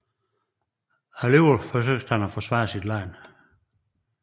Alligevel forsøgte han at forsvare sit land